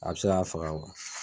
A bi se ka faga